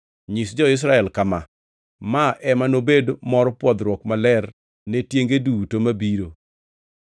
Nyis jo-Israel kama, ‘Ma ema nobed mor pwodhruok maler ne tienge duto mabiro.